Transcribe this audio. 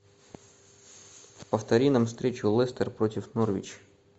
повтори нам встречу лестер против норвич